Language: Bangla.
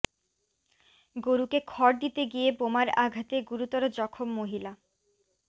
গরুকে খড় দিতে গিয়ে বোমার আঘাতে গুরুতর জখম মহিলা